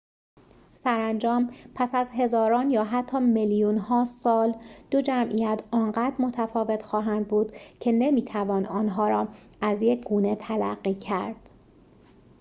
سرانجام پس از هزاران یا حتی میلیون‌ها سال دو جمعیت آنقدر متفاوت خواهند بود که نمی‌توان آنها را از یک گونه تلقی کرد